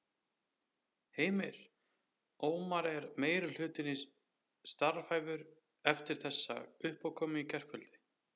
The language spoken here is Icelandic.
Heimir: Ómar, er meirihlutinn starfhæfur eftir þessa uppákomu í gærkvöldi?